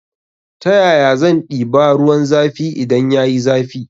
Ta yaya zan ɗiba ruwan zafi idan yayi zafi